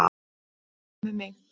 En hvað með þig.